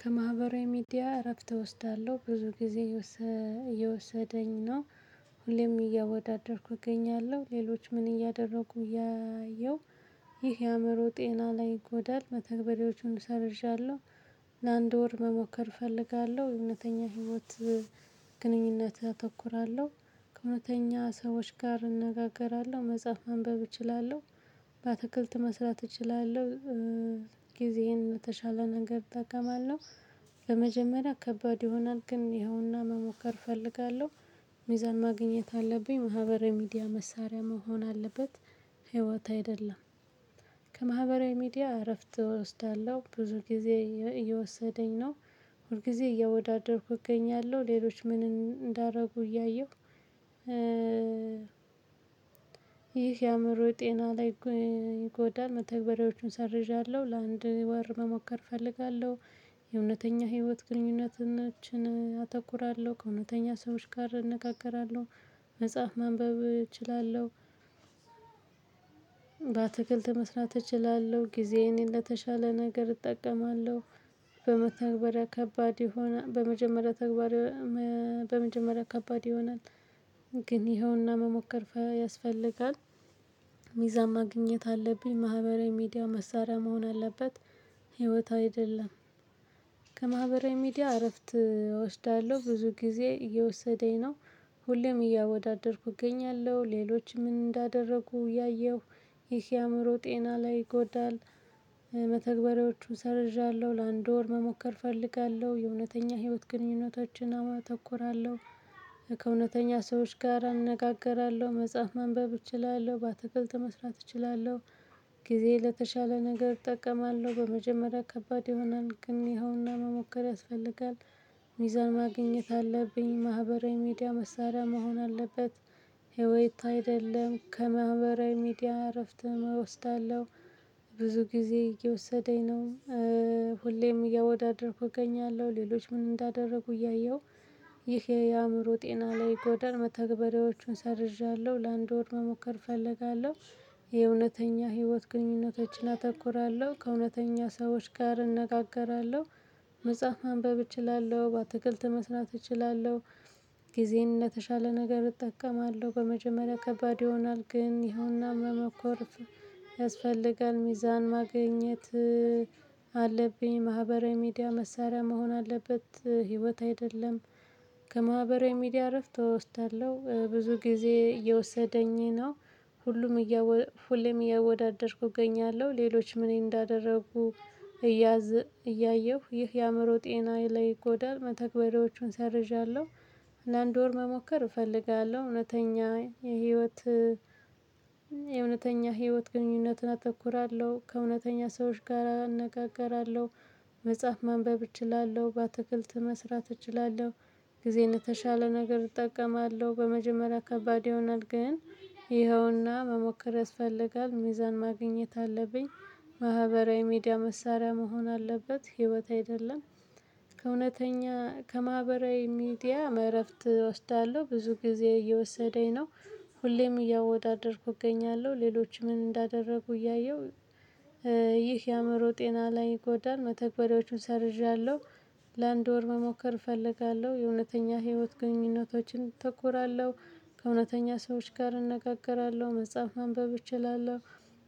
ከማህበራዊ ሚዲያ እረፍት እወስዳለሁ ብዙ ጊዜ የወሰ እየወሰደኝ ነው። ሁሌም እያወዳደርኩ እገኛለሁ ሌሎች ምን እያደረጉ እያየሁ ይህ የአእምሮ ጤና ላይ ይጎዳል። መተግበሪያዎቹን ሰርዣለሁ። ለአንድ ወር መሞከር እፈልጋለሁ እውነተኛ ህይወት። ግንኙነት አተኩራለሁ ከእውነተኛ ሰዎች ጋር እንነጋገራለሁ መጽሐፍ ማንበብ እችላለሁ። በአትክልት መስራት እችላለሁ። ጊዜዬን የተሻለ ነገር እጠቀማለሁ። ለመጀመሪያ ከባድ ይሆናል ግን ይኸውና መሞከር እፈልጋለሁ። ሚዛን ማግኘት አለብኝ ማህበረ ሚዲያ መሳሪያ መሆን አለበት ህይወት አይደለም። ከማህበራዊ ሚዲያ እረፍት እወስዳለሁ ብዙ ጊዜ እየወሰደኝ ነው። ሁል ጊዜ እያወዳደርኩኝ እገኛለሁ ሌሎች ምን እንዳደረጉ እያየሁ ይህ የአእምሮ ጤና ላይ ይጎዳል። መተግበሪያዎቹን ሰርዣለሁ ለአንድ ወር መሞከር እፈልጋለሁ። የእውነተኛ ህይወት ግንኙነታችን አተኩራለሁ ከእውነተኛ ሰዎች ጋር እነጋገራለሁ። መጽሐፍ መንበብ እችላለሁ። በአትክልት መስራት እችላለሁ ጊዜዬን ለተሻለ ነገር እጠቀማለሁ። በመተበሪያ ከባድ ይሆና በመጀመሪያ ተግባር በመጀመሪያ ከባድ ይሆናል። ግን ይኸውና መሞከር ያስፈልጋል። ሚዛን ማግኘት አለብኝ ማህበራዊ ሚዲያ መሳሪያ መሆን አለበት ህይወት አይደለም። ከማህበራዊ ሚዲያ እረፍት እወስዳለሁ ብዙ ጊዜ እየወሰደኝ ነው። ሁሌም እያወዳደርኩ እገኛለሁ ሌሎች ምን እንዳደረጉ እያየሁ ይህ የአእምሮ ጤና ላይ ይጎዳል። መተግበሪያዎቹን ሰርዣለሁ ለአንድ ወር መሞከር እፈልጋለሁ የእውነተኛ ህይወት ግንኙነታችን አተኩራለሁ። ከእውነተኛ ሰዎች ጋር እነጋግራለሁ መጽሐፍ ማንበብ እችላለሁ በአትክልት መስራት እችላለሁ። ጊዜ ለተሻለ ነገር እጠቀማለሁ በመጀመሪያ ከባድ ይሆናል ግን ይኸውና መሞከር ያስፈልጋል። ሚዛን ማግኘት አለብኝ ማህበራዊ ሚዲያ መሳሪያ መሆን አለበት። ህይወት አይደለም ከማህበራዊ ሚዲያ እረፍት እወስዳለሁ። ብዙ ጊዜ እየወሰደኝ ነው። ሁሌም እያወዳደርኩ እገኛለሁ ሌሎች ምን እንዳደረጉ እያየሁ ይሄ የአእምሮ ጤና ላይ ይዳል መተግበሪዎቹን ሰርዣለሁ ለአንድ ወር መሞከር እፈልጋለሁ። የእውነተኛ ህይወት ግንኙነቶችን አተኩራለሁ ከእውነተኛ ሰዎች ጋር እነጋገራለሁ። መጽሐፍ ማንበብ እችላለሁ በአትክልት መስራት እችላለሁ። ጊዜን ለተሻለ ነገር እጠቀማለሁ በመጀመሪያ ከባድ ይሆናል ግን ይኸውና መመከር ያስፈልጋል። ሚዛን ማግኘት አለብኝ ማህበራዊ ሚዲያ መሳሪያ መሆን አለበት ህይወት አይደለም። ከማህበራዊ ሚዲያ እረፍት እወስዳለሁ ብዙ ጊዜ እየወሰደኝ ነው። ሁሉም እያወ ሁሌም እያወደደርኩ እገኛለሁ ሌሎች ምን እንዳደረኩ እያየሁ ይህ የአእምሮ ጤናዬ ላይ ጎዳል መተግበሬዎቹን ሰርዣለሁ። አንድ ወር መሞከር እፈልጋለሁ እውነተኛ የህይወት የእውነተኛ ህይወት ግንኙነትን አተኩራለሁ ከእውነተኛ ሰዎች ጋር እነጋገራለሁ። መጽሐፍ ማንበብ እችላለሁ በአትክልት መስራት እችላለሁ። ጊዜን የተሻለ ነገር እጠቀማለሁ በመጀመሪያ ከባድ ይሆናል ግን። ይኸውና መሞከር ያስፈልጋል ሚዛን ማግኘት አለብኝ። ማህበራዊ ሚዲያ መሳሪያ መሆን አለበት ህይወት አይደለም። ከእውነተኛ ከማህበራዊ ሚዲያም እረፍት እወስዳለሁ ብዙ ጊዜ እየወሰደኝ ነው። ሁሌም እያወዳደርኩ እገኛለሁ ሌሎች ምን እንዳደረጉ እያየሁ ይህ የአእምሮ ጤና ላይ ጎዳን መተግበሪያዎቹን ሰርዣለሁ። ለአንድ ወር መሞከር እፈልጋለሁ የእውነተኛ ህይወት ግንኙነቶችን እተኮራለሁ። ከእውነተኛ ሰዎች ጋር እንነጋገራለሁ መጽሐፍ ማንበብ እችላለሁ።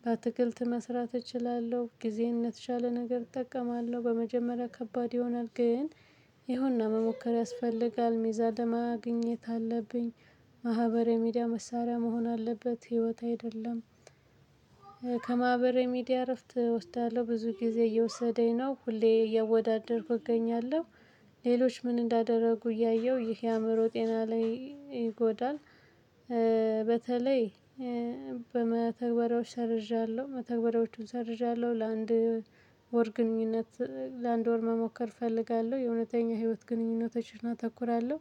በአትክልት መስራት እችላለሁ ጊዜዬን ለተሻለ ነገር እጠቀማለሁ በመጀመሪያ ከባድ ይሆናል ግን ይሄውና መሞከር ያስፈልጋል ሚዛን ለማግኘት አለብኝ። ማህበራዊ ሚዲያ መሳሪያ መሆን አለበት ህይወት አይደለም። ከማህበራዊ ሚዲያ እረፍት እወስዳለሁ ብዙ ጊዜ እየወሰደኝ ነው ሁሌ እየወዳደርኩ እገኛለሁ። ሌሎች ምን እንዳደረጉ እያየሁ ይህ የአእምሮ ጤና ላይ ይጎዳል። በተለይ በመተግበሪያው ሰርዣለሁ መተግበሪያዎቹን ሰርዣለሁ ለአንድ ወር ግንኙነት ለአንድ ወር መሞከር እፈልጋለሁ የእውነተኛ ህይወት ግንኙነቶችን አተኩራለሁ።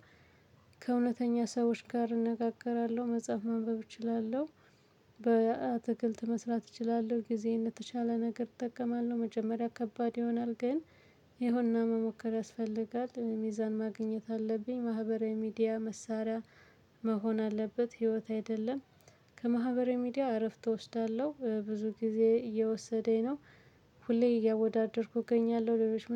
ከእውነተኛ ሰዎች ጋር እነጋገራለሁ መጽሐፍ ማንበብ እችላለሁ። በአትክልት መስራት እችላለሁ ጊዜዬን ለተሻለ ነገር እጠቀማለሁ መጀመሪያ ከባድ ይሆናል ግን። ይሄውና መሞከር ያስፈልጋል ሚዛን ማግኘት አለብኝ ማህበራዊ ሚዲያ መሳሪያ መሆን አለበት ህይወት አይደለም። ከማህበራዊ ሚዲያ እረፍት እወስዳለሁ ብዙ ጊዜ እየወሰደኝ ነው። ሁሌ እያወዳደርኩ እገኛለሁ ለሌሎች